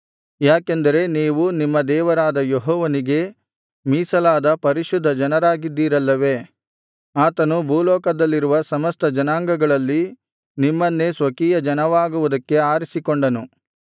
ಯಾಕೆಂದರೆ ನೀವು ನಿಮ್ಮ ದೇವರಾದ ಯೆಹೋವನಿಗೆ ಮೀಸಲಾದ ಪರಿಶುದ್ಧ ಜನರಾಗಿದ್ದೀರಲ್ಲವೇ ಆತನು ಭೂಲೋಕದಲ್ಲಿರುವ ಸಮಸ್ತ ಜನಾಂಗಗಳಲ್ಲಿ ನಿಮ್ಮನ್ನೇ ಸ್ವಕೀಯಜನವಾಗುವುದಕ್ಕೆ ಆರಿಸಿಕೊಂಡನು